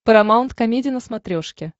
парамаунт комеди на смотрешке